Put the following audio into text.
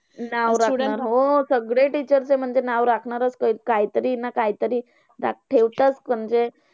नाव हो. सगडे teacher चे म्हणजे नाव चं. काहीतरी ना काहीतरी ठेवताच म्हणजे